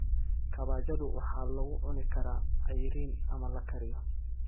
Kabbajadu waxaa lagu cuni karaa ceyriin ama la kariyo.